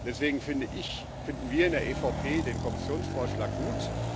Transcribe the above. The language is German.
Deswegen finde ich, finden wir in der EVP den Kommissionsvorschlag gut.